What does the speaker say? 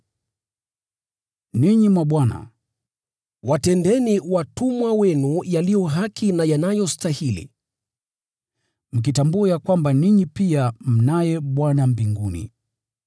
Ninyi mabwana, watendeeni watumwa wenu yaliyo haki na yanayostahili, mkitambua ya kwamba ninyi pia mnaye Bwana mbinguni.